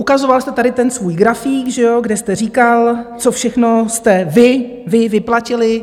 Ukazoval jste tady ten svůj grafík, že jo, kde jste říkal, co všechno jste vy, vy vyplatili.